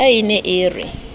ka e ne e re